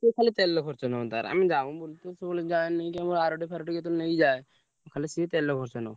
ସିଏ ଖାଲି ତେଲ ଖର୍ଚ ନବ ତାର ଆମେ ଯାଉ ବୁଲିତେ ସବୁବେଳେ ଯାଏନାଇକି ଆମର ଆରଡି ଫାରଡି କେତବେଳେ ନେଇକି ଯାଏ ଖାଲି ସିଏ ତେଲ ଖର୍ଚ ନବ।